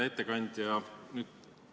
Hea ettekandja!